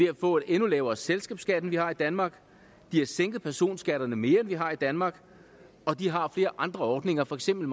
at få en endnu lavere selskabsskat end vi har det i danmark de har sænket personskatterne mere end vi har i danmark og de har flere andre ordninger for eksempel